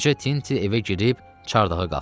Qoca Tinti evə girib çardağa qalxdı.